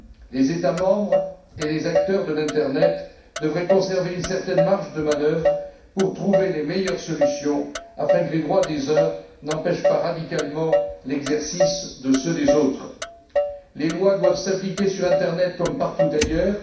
Les États membres et les acteurs de l'Internet devraient conserver une certaine marge de manœuvre pour trouver les meilleures solutions afin que les droits des uns n'empêchent pas radicalement l'exercice de ceux des autres. Les lois doivent s'appliquer sur Internet comme partout ailleurs.